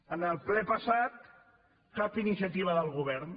en el ple passat cap iniciativa del govern